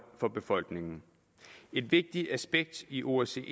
for befolkningen et vigtigt aspekt i osce